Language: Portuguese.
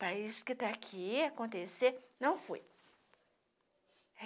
Para isso que tá aqui acontecer, não fui.